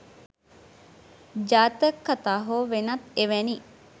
ජාතක කතා හෝ වෙනත් එවැනි